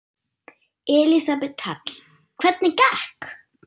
Elísabet Hall: Hvernig gekk?